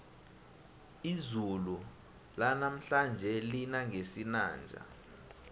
izulu lanamhlanje lina ngesinanja